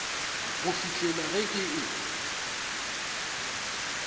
go fihlela ge ke e